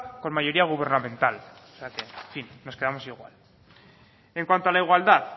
con mayoría gubernamental o sea que en fin nos quedamos igual en cuanto a la igualdad